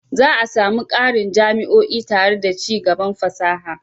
Za a sami ƙarin jami'o'i tare da ci gaban fasaha.